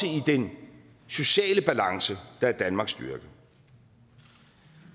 i den sociale balance der er danmarks styrke